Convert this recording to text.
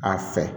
A fɛ